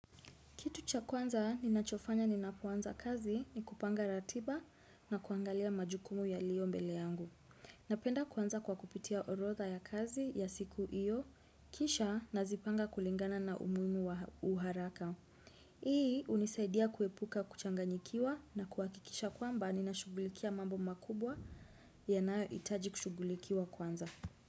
Kitu cha kwanza, ninachofanya ninapoanza kazi ni kupanga ratiba na kuangalia majukumu yalio mbele yangu. Napenda kwanza kwa kupitia orodha ya kazi ya siku hiyo, kisha nazipanga kulingana na umuhimu wa uharaka. Hii unisaidia kuepuka kuchanganyikiwa na kuakikisha kwamba, ninashugulikia mambo makubwa yanayoitaji kushugulikiwa kwanza.